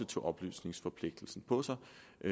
tog oplysningsforpligtelsen på sig